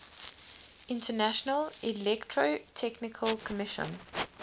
international electrotechnical commission